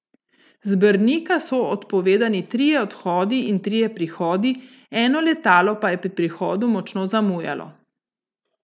Z Brnika so odpovedani trije odhodi in trije prihodi, eno letalo pa je pri prihodu močno zamujalo.